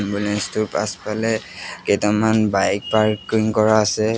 Ambulance টোৰ পিছফালে কেইটামান বাইক পাৰ্কিং কৰা আছে।